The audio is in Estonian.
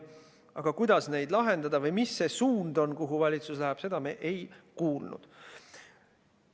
Aga kuidas neid lahendada või mis suunas valitsus läheb, seda me ei kuulnud.